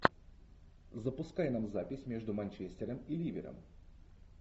запускай нам запись между манчестером и ливером